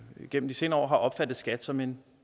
igennem de senere år har opfattet skat som en